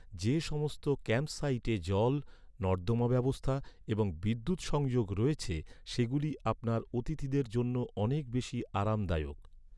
যে সমস্ত ক্যাম্পসাইটে জল, নর্দমা ব্যবস্থা এবং বিদ্যুৎ সংযোগ রয়েছে, সেগুলি আপনার অতিথিদের জন্য অনেক বেশি আরামদায়ক।